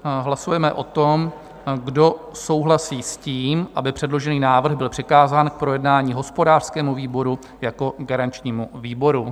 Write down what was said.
Hlasujeme o tom, kdo souhlasí s tím, aby předložený návrh byl přikázán k projednání hospodářskému výboru jako garančnímu výboru.